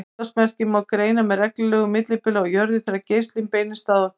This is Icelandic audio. Útvarpsmerkin má greina með reglulegu millibili á jörðu þegar geislinn beinist að okkur.